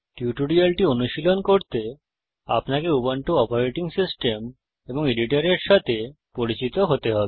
এই টিউটোরিয়ালটি অনুশীলন করতে আপনাকে উবুন্টু অপারেটিং সিস্টেম এবং এডিটরের সাথে পরিচিত হতে হবে